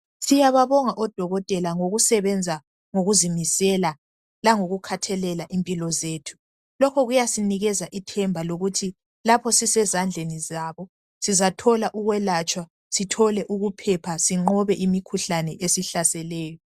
Odokotela ngokusebenza lokuzimisela langokukhathalela impilo zethu lokhu kuyasinikeza ithemba lokuthi lapho sisezandle zabo sizathola ukwelatshwa sithole ukunqoba imikhuhlane ehlaseleyo